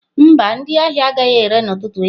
Mba, ndị ahịa agaghị ere n'ụtụtụ echi.